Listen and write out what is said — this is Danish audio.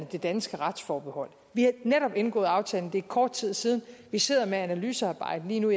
det danske retsforbehold vi har netop indgået aftalen det er kort tid siden vi sidder med analysearbejdet lige nu